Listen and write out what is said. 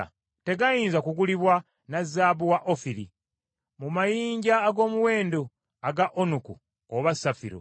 Tegayinza kugulibwa na zaabu wa Ofiri, mu mayinja ag’omuwendo aga onuku oba safiro.